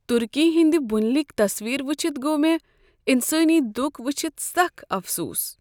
ترکی ہندِ بُنیلکۍ تصویر وٕچھتھ گوٚو مےٚ انسٲنی دۄکھ وچھتھ سخ افسوس۔